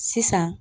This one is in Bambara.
Sisan